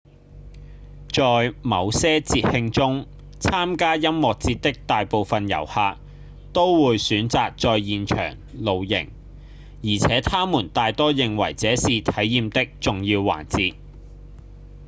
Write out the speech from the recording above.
在某些節慶中參加音樂節的大部分遊客都會選擇在現場露營而且他們大多認為這是體驗的重要環節